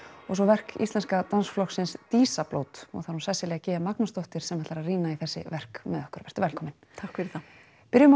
og svo verk Íslenska dansflokksins og það er hún Sesselja g Magnúsdóttir sem ætlar að rýna í þessi verk með okkur vertu velkomin takk fyrir það byrjum á